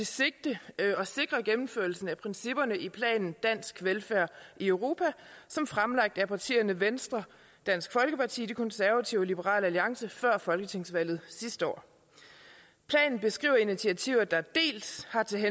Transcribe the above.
sigte at sikre gennemførelsen af principperne i planen dansk velfærd i europa som fremlagt af partierne venstre dansk folkeparti de konservative og liberal alliance før folketingsvalget sidste år planen beskriver initiativer der dels har til